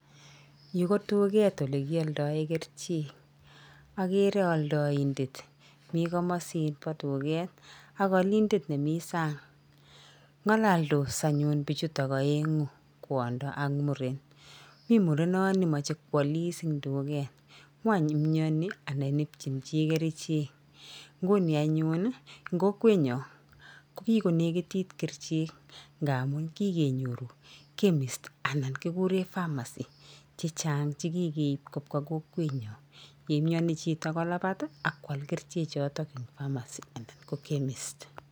Yu ko duket olekialdae kerichek. Akere aldaindet, mi komasibo duket ak olindet nemi sang. Ng'aloldos anyun bichutok aeng'u, kwondo ak muren. Mi murenoni mache kwalis eng duket. Ng'ony imyani anan ipchin chi kerichek. Nguni anyun eng kokwenyo kokikonekitit kerichek nga amu kikenyoru chemist anan kikure pharmacy chechang chekikeip kobwa kokwenyo. Yeimyeni chito kolabat akwal kerichechoto eng pharmacy anan ko chemist.